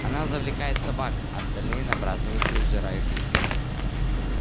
она завлекает собак а остальные набрасываются и сжирают их